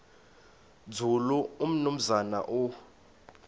nzulu umnumzana u